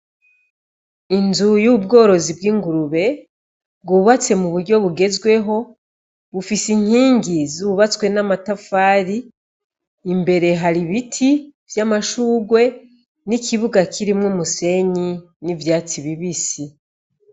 Inzu y'ubworozi bw'ingurube, bwubatswe mu buryo bugezweho bufise inkingi zubatswe n'amatafari, imbere hari ibiti vy'amashurwe n'ikibuga kirimwo umusenyi n'ivyatsi bibisi.